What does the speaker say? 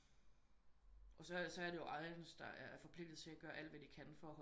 Og så er det ejerns der er forpligtet til art gøre alt hvad de kan for